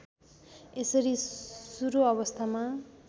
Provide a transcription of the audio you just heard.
यसरी सुरु अवस्थामा